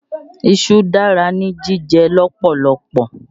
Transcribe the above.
Iṣu dára ní jíjẹ lọ́pọ̀lọpọ̀